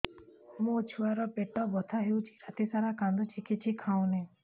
ମୋ ଛୁଆ ର ପେଟ ବଥା ହଉଚି ରାତିସାରା କାନ୍ଦୁଚି କିଛି ଖାଉନି